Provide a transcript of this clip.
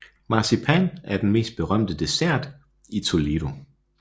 Marcipan er den mest berømte dessert i Toledo